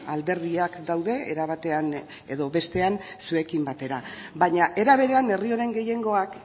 alderdiak daude era batean edo bestean zuekin batera baina era berean herri honen gehiengoak